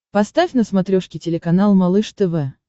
поставь на смотрешке телеканал малыш тв